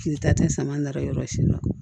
K'i ta tɛ sama nafa sidɔn